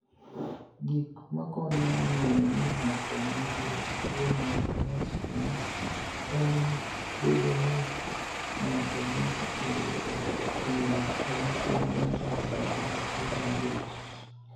Gik makoniyo nig'eyo nii nig'ato niigi tuwo mar Anosmia Eni bedo nii nig'ato niyocha oyudo hiniyruok e masira mar nidara kata masira mar wich.